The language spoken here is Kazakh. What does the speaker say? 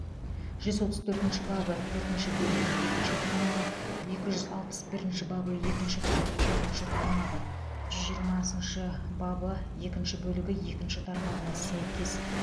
жүз отыз төртінші бабы төртінші бөлігі екінші тармағы екі жүз алпыс бірінші бабы екінші бөлігі төртінші тармағы жүз жиырмасыншы бабы екінші бөлігі екінші тармағына сәйкес